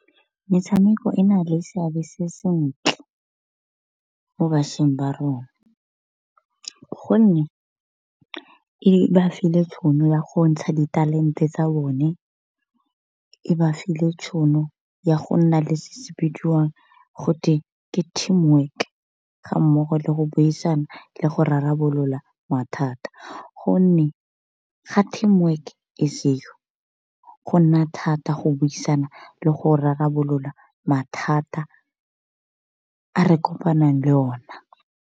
Metshameko e na le seabe se sentle, mo bašweng ba rona. Gonne e ba file tšhono ya go ntsha ditalente tsa bone, e ba file tšhono ya go nna le se se bidiwang gote ke team work ga mmogo le go buisana le go rarabolola mathata. Gonne ga team work e seo go nna thata go buisana le go rarabolola mathata a re kopanang le ona.